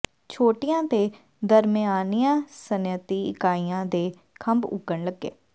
ਛੋਟੀਆਂ ਤੇ ਦਰਮਿਆਨੀਆਂ ਸਨਅਤੀ ਇਕਾਈਆਂ ਦੇ ਖੰਭ ਉੱਗਣ ਲੱਗੇ